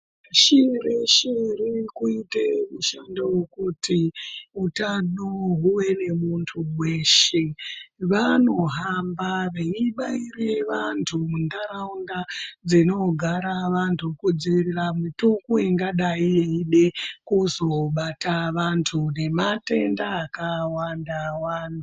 Pashi reshe ririkuite mushando vokuti utano huve nemuntu veshe. Vanohamba veibaire vantu muntaraunda dzinogara vantu kudzirire mitungu ingadai yeide kuzobata vantu nematenda akawanda-wanda.